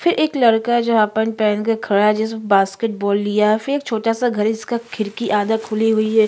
फिर एक लड़का जहाँ पर पहन के खड़ा है जिसने बास्केटबॉल लिया है फिर उसका छोटा सा घर इसका खिड़की आधा खुली हुई है।